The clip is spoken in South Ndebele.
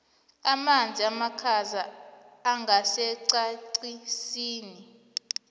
amanzi amakhaza angesiqandisini